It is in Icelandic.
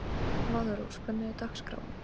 Valrós, hvernig er dagskráin?